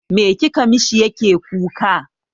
Me kika mishi yake kuka?